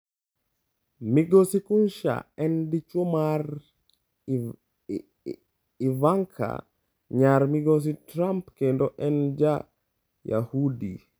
Migosi Kushner en dichuo mar Ivanka, nyar Migosi Trump kendo en Ja-Yahudi.